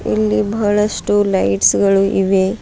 ಇಲ್ಲಿ ಬಹಳಷ್ಟು ಲೈಟ್ಸ್ ಗಳು ಇವೆ.